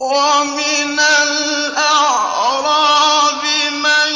وَمِنَ الْأَعْرَابِ مَن